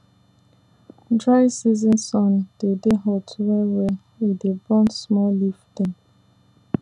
dry season sun dey dey hot well well e dey burn small leaf dem